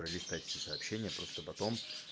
пролистать все сообщения просто потом